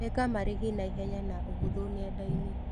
ĩka marĩhi naihenya na ũhũthũ nenda-inĩ.